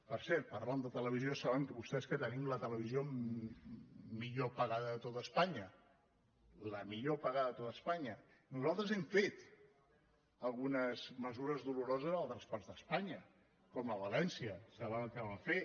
per cert parlant de televisió saben vostès que tenim la televisió millor pagada de tot espanya la millor pagada de tot espanya nosaltres hem fet algunes mesures doloroses a altres parts d’espanya com a valència saben el que vam fer